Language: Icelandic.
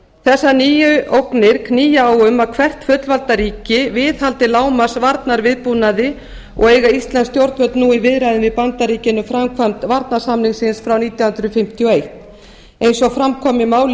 hryðjuverkavá þessar nýju ógnir knýja á um að hvert fullvalda ríki viðhaldi lágmarks varnarviðbúnaði og eiga íslensk stjórnvöld nú í viðræðum við bandaríkin um framkvæmd varnarsamningsins frá nítján hundruð fimmtíu og eitt eins og fram kom í máli